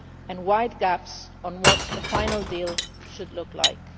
and wide gaps on what a final deal should look like.